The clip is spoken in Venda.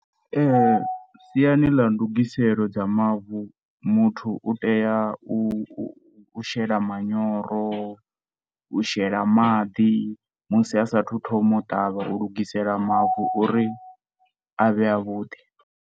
Siani ḽa ndungiselo dza mavu, muthu utea u shela manyoro u shela maḓi musi asathu thoma u ṱavha u lugisela mavu uri a vhe avhuḓi.